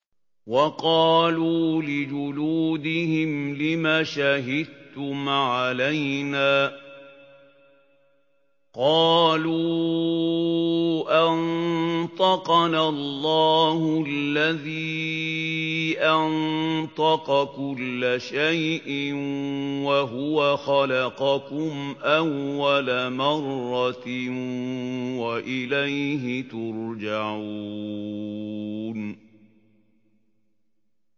وَقَالُوا لِجُلُودِهِمْ لِمَ شَهِدتُّمْ عَلَيْنَا ۖ قَالُوا أَنطَقَنَا اللَّهُ الَّذِي أَنطَقَ كُلَّ شَيْءٍ وَهُوَ خَلَقَكُمْ أَوَّلَ مَرَّةٍ وَإِلَيْهِ تُرْجَعُونَ